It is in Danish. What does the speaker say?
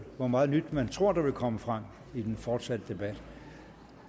hvor meget nyt man tror der vil komme frem i den fortsatte debat